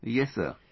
Yes Sir,